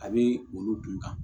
A bɛ olu dunta